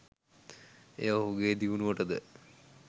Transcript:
එය ඔහුගේ දියුණුවටද